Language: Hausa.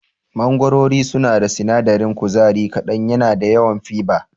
Mangorori suna da sinadarin kuzari kaɗan yana da yawan fiber.